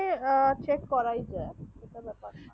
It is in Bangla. এ chek করাই যাক ওটা ব্যাপার